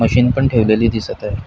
मशीनपण ठेवलेली दिसत आहे.